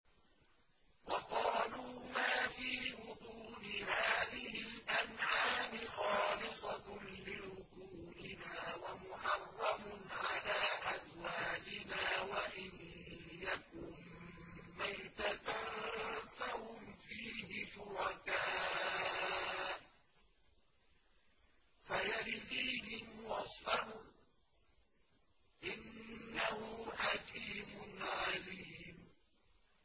وَقَالُوا مَا فِي بُطُونِ هَٰذِهِ الْأَنْعَامِ خَالِصَةٌ لِّذُكُورِنَا وَمُحَرَّمٌ عَلَىٰ أَزْوَاجِنَا ۖ وَإِن يَكُن مَّيْتَةً فَهُمْ فِيهِ شُرَكَاءُ ۚ سَيَجْزِيهِمْ وَصْفَهُمْ ۚ إِنَّهُ حَكِيمٌ عَلِيمٌ